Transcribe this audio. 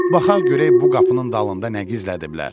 Baxaq görək bu qapının dalında nə gizlədiblər.